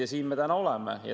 Ja siin me täna oleme.